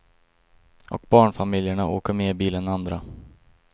Och barnfamiljerna åker mer bil än andra.